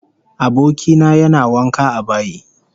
Aboki na yana wanka a bayi